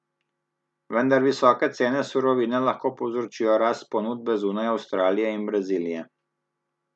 Vendar visoke cene surovine lahko povzročijo rast ponudbe zunaj Avstralije in Brazilije.